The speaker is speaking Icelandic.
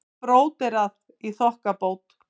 Og bróderað í þokkabót.